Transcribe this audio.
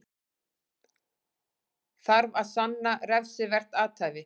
Þarf að sanna refsivert athæfi